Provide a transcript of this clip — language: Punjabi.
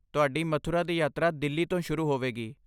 ਤੁਹਾਡੀ ਮਥੁਰਾ ਦੀ ਯਾਤਰਾ ਦਿੱਲੀ ਤੋਂ ਸ਼ੁਰੂ ਹੋਵੇਗੀ।